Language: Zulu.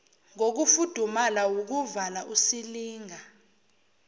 kokufudumala wukuvala usilinga